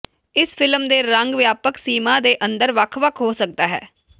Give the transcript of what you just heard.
ਇਸ ਫਿਲਮ ਦੇ ਰੰਗ ਵਿਆਪਕ ਸੀਮਾ ਦੇ ਅੰਦਰ ਵੱਖ ਵੱਖ ਹੋ ਸਕਦਾ ਹੈ